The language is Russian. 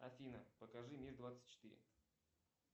афина покажи мир двадцать четыре